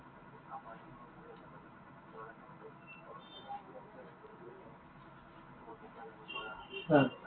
অ।